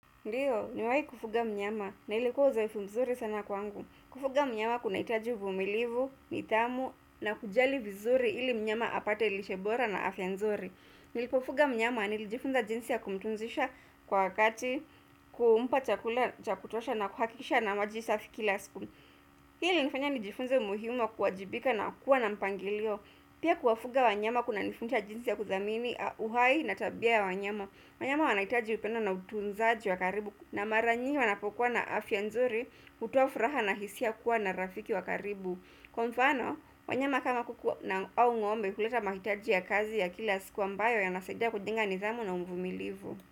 Ndiyo, niwai kufuga mnyama na ilikuwa zaifu mzuri sana kwangu. Kufuga mnyama kuna itaji uvumilivu, nidhamu na kujali vizuri ili mnyama apate lishe bora na afya nzuri. Nilipofuga mnyama anilijifunza jinsi ya kumtunzisha kwa wakati kumpa chakutosha na kuhakisha na maji safi kila siku Hii ilifanya nijifunza umuhim wa kuwajibika na kuwa na mpangilio. Pia kuwafuga wanyama kuna nifunza jinsi ya kuthamini, uhai na tabia ya wanyama. Wanyama wanakitaji upenda na utunzaji wakaribu na maranyi wanapokuwa na afya nzuri utoafraha na hisia kuwa na rafiki wakaribu Kwa mfano, wanyama kama kukuwa na au ngombe kuleta mahitaji ya kazi ya kila siku ambayo ya nasaidia kujenga nidhamu na mvumilivu.